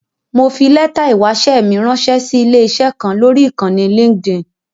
Mo fi lẹ́tà ìwáṣẹ́ mi ránṣẹ́ sí ilé-iṣẹ́ kan lọ́rí Ìkànnì Linkedin.